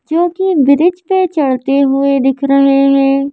के ब्रिज पर जाते हुए दिख रहा है।